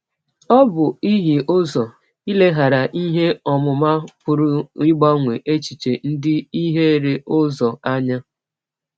Ọ bụ ihie ụzọ, ileghara ihe ọmụma pụrụ ịgbanwe echiche ndị hiere ụzọ, anya.